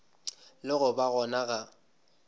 le go ba gona ga